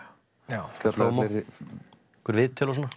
já spjalla við fleiri einhver viðtöl og svona